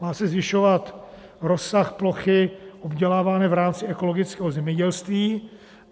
Má se zvyšovat rozsah plochy obdělávané v rámci ekologického zemědělství.